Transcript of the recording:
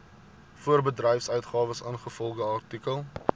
voorbedryfsuitgawes ingevolge artikel